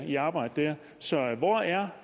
i arbejde der så hvor er